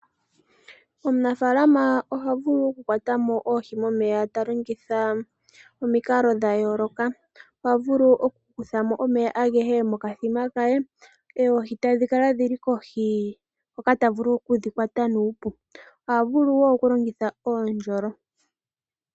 Omunafalama oha vulu okukwatamo oohi momeya talongitha omikalo dhayooloka, oha vulu okukuthamo omeya ageshe mokathima kaye oohi tadhi kala dhili kohi hoka ta vulu okudhikwata nuupu, oha vulu woo okulongitha oondjolo.